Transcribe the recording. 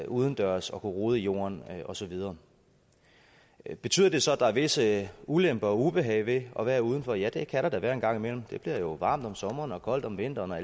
udendørs og rode i jorden og så videre betyder det så at der er visse ulemper og ubehag ved at være uden for ja det kan der da være en gang imellem det bliver varmt om sommeren og koldt om vinteren og